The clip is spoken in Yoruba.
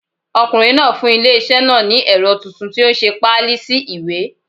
Ọkùnrin náà fún ilé iṣẹ́ náà ní ẹ̀rọ titun tó nse páálí sí ìwé